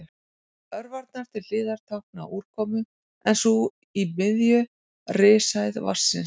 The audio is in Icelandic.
Örvarnar til hliðar tákna úrkomu en sú í miðju rishæð vatnsins.